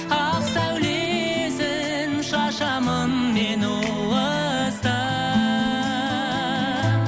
ақ сәулесін шашамын мен уыстап